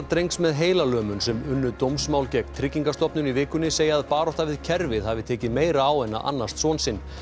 drengs með heilalömun sem unnu dómsmál gegn Tryggingastofnun í vikunni segja að barátta við kerfið hafi tekið meira á en að annast son sinn